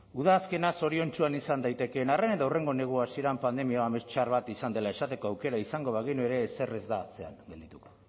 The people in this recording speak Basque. udazkena zoriontsuan izan daitekeen arren edo hurrengo negua hasieran pandemia pandemia amets txar bat izan dela esateko aukera izango bagenu ere ezer ez da atzean geldituko